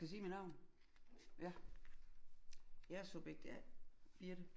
Skal jeg sige mit navn? Ja jeg er subjekt A Birthe